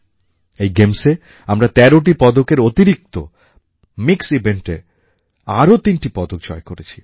এই গেমসে আমরা ১৩টি পদকের অতিরিক্ত মিক্স Eventএ আরও ৩টি পদক জয় করেছি